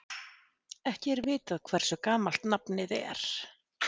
Ekki er vitað hversu gamalt nafnið er.